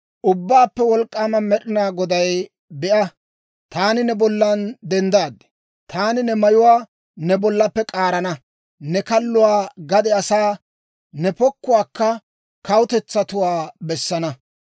Ubbaappe Wolk'k'aama Med'inaa Goday, «Be'a, taani ne bollan denddaad! Taani ne mayuwaa ne bollappe k'aarana; ne kalluwaa gade asaa, ne pokkuwaakka kawutetsatuwaa bessana.